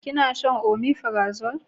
Ki na shan omefirazole?